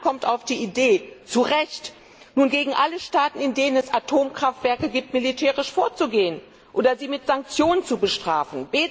Und niemand kommt auf die Idee zu Recht nun gegen alle Staaten, in denen es Atomkraftwerke gibt, militärisch vorzugehen oder sie mit Sanktionen zu bestrafen.